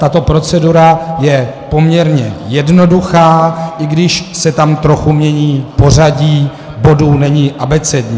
Tato procedura je poměrně jednoduchá, i když se tam trochu mění pořadí bodů, není abecední.